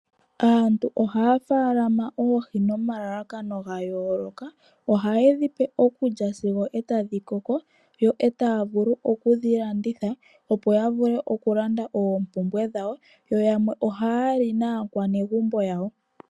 Aantu ohaya faalama oohi nomalalakano gayooloka. Ohaye dhi pe okulya sigo etadhi koko yo etaya vulu okudhilanditha opo yavule okulanda oompumbwe dhawo yoyamwe ohaya li naakwanegumbo yawo.